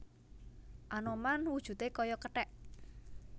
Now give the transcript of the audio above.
Anoman wujudé kaya kethèk